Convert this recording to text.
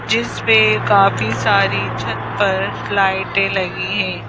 जिसमें काफी सारी छत पर लाइटें लगी हैं।